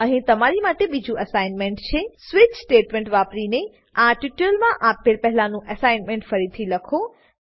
અહીં તમારી માટે બીજું એસાઈનમેંટ છે સ્વિચ સ્વીચ સ્ટેટમેંટ વાપરીને આ ટ્યુટોરીયલમાં આપેલ પહેલાનું એસાઈનમેંટ ફરીથી લખો